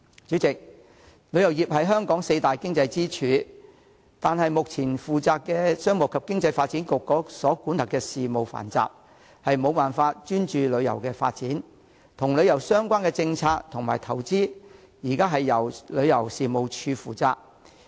主席，旅遊業是香港四大經濟支柱之一，但負責旅遊業的商務及經濟發展局管轄的事務繁雜，無法專注旅遊發展，因此與旅遊相關的政策及投資現時交由旅遊事務署負責。